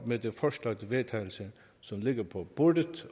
med det forslag til vedtagelse som ligger på bordet